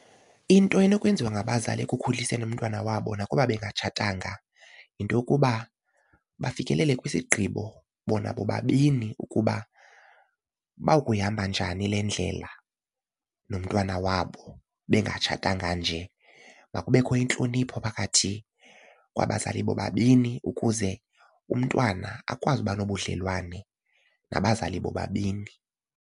Into enokwenziwa ngabazali ekukhuliseni umntwana wabo nakuba bengatshatanga yinto yokuba bafikelele kwisigqibo bona bobabini ukuba bakuyihamba njani le ndlela nomntwana wabo bengatshatanga nje. Makubekho intlonipho phakathi kwabazali bobabini ukuze umntwana akwazi ukuba nobudlelwane nabazali bobabini.